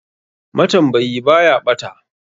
Matambayi baya ɓata.